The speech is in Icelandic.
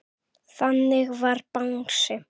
Þannig var Bangsi.